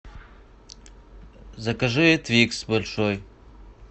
закажи твикс большой